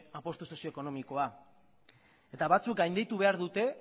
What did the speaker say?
apustu sozio ekonomikoa eta batzuk gainditu behar dute